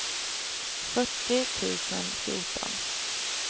fyrtio tusen fjorton